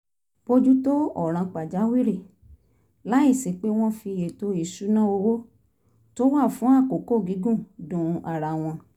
bójú tó ọ̀ràn pàjáwìrì láìsí pé wọ́n fi ètò ìṣúnná owó tó wà fún àkókò gígùn du ara wọn